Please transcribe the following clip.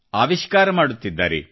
ಆವಿಷ್ಕಾರ ಮಾಡುತ್ತಿದ್ದಾರೆ